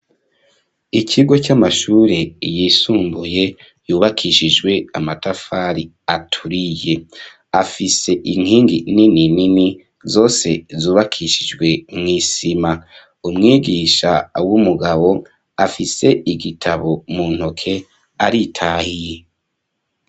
Ikigo c'amashure, yisumbuye, yubakishijwe amatafari, aturiye; afise inkingi nini nini, zose zubakishijwe mw'isima; umwigisha w'umugabo, afise igitabo mu ntoke, aritahiye.